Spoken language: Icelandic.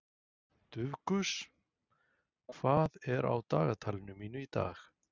Dufgus, hvað er á dagatalinu mínu í dag?